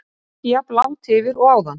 Þó ekki jafn langt yfir og áðan.